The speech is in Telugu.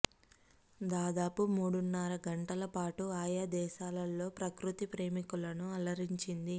దాదాపు మూడున్నర గంటల పాటూ ఆయా దేశాల్లో ప్రకృతి ప్రేమికులను అలరించింది